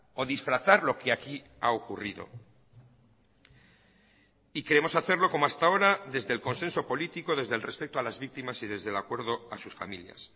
o disfrazar lo que aquí ha ocurrido y queremos hacerlo como hasta ahora desde el consenso político desde el respeto a las víctimas y desde el acuerdo a sus familias